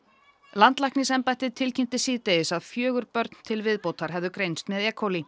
landlæknisembættið tilkynnti síðdegis að fjögur börn til viðbótar hefðu greinst með e